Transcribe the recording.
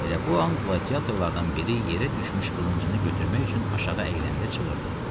Elə bu an qladiyatorlardan biri yerə düşmüş qılıncını götürmək üçün aşağı əyiləndə çığırdı.